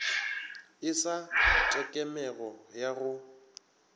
e sa tekemego ya go